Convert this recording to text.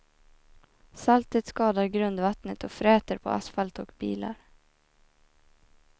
Saltet skadar grundvattnet och fräter på asfalt och bilar.